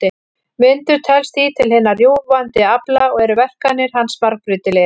Vindur telst því til hinna rjúfandi afla og eru verkanir hans margbreytilegar.